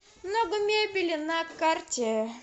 много мебели на карте